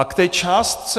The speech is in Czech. A k té částce.